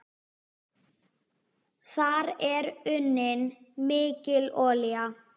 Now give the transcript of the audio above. Þar er unnin mikil olía.